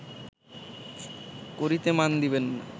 করিতে মান দিবে না